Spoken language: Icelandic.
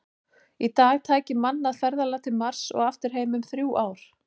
Í dag tæki mannað ferðalag til Mars og aftur heim um þrjú ár.